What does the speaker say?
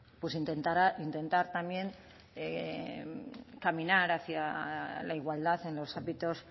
intentar también caminar hacia la igualdad en los ámbitos